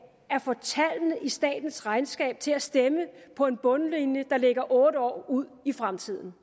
få tallene i statens regnskab til at stemme på en bundlinje der ligger otte år ude i fremtiden